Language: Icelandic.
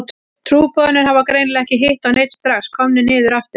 Trúboðarnir hafa greinilega ekki hitt á neinn, strax komnir niður aftur.